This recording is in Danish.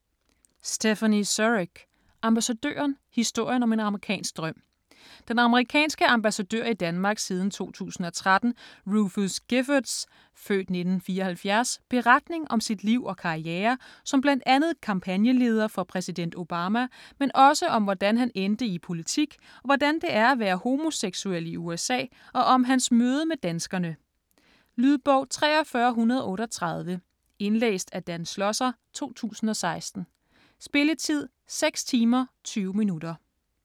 Surrugue, Stéphanie: Ambassadøren: historien om en amerikansk drøm Den amerikanske ambassadør i Danmark siden 2013, Rufus Giffords (f. 1974) beretning om sit liv og karriere, som bl.a. kampagneleder for præsident Obama, men også om hvordan han endte i politik og hvordan det er at være homoseksuel i USA og om hans møde med danskerne. Lydbog 43138 Indlæst af Dan Schlosser, 2016. Spilletid: 6 timer, 20 minutter.